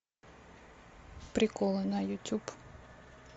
приколы на ютюб